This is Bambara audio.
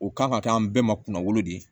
O kan ka kɛ an bɛɛ ma kunnafoni de ye